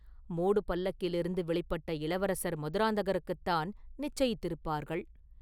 மூடு பல்லக்கிலிருந்து வெளிப்பட்ட இளவரசர் மதுராந்தகருக்குத்தான் நிச்சயித்திருப்பார்கள்.